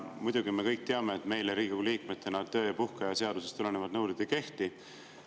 Muidugi, me kõik teame, et meile Riigikogu liikmetena töö‑ ja puhkeaja seadusest tulenevad nõuded ei kehti.